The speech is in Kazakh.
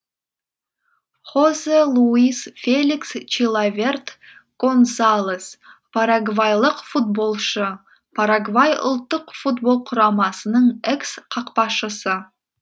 хосе луис феликс чилаверт гонсалес парагвайлық футболшы парагвай ұлттық футбол құрамасының экс қақпашысы